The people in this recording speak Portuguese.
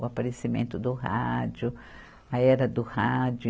O aparecimento do rádio, a era do rádio.